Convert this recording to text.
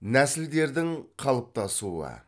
нәсілдердің қалыптасуы